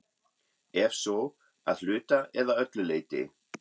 Ef svo, að hluta eða öllu leyti?